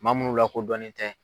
Maa munnu lakodɔnnen tɛ.